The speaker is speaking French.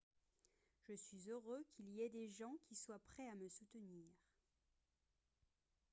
je suis heureux qu'il y ait des gens qui soient prêts à me soutenir